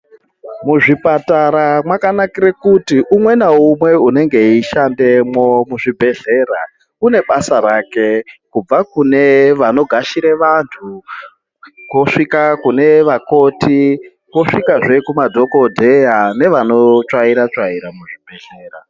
Muzvipatara mwakanakire kuti umwe naumwe unenge eishandemwo muzvibhehlera une basa rake kubva kune vanogashire vantu kusvika kune vakoti kusvikazve kumadhokodheya nevanotsvaira tsvaira muzvibhehlera.